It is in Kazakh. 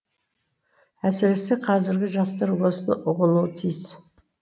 әсіресе қазіргі жастар осыны ұғынуы тиіс